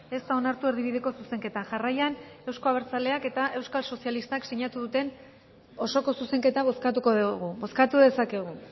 ez da onartu erdibideko zuzenketa jarraian euzko abertzaleak eta euskal sozialistak sinatu duten osoko zuzenketa bozkatuko dugu bozkatu dezakegu